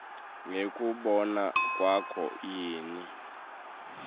ngekubona kwakho yini